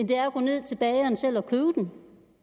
det er at gå ned til bageren selv og købe den